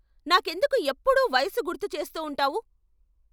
నాకెందుకు ఎప్పుడూ వయసు గుర్తు చేస్తూ ఉంటావు?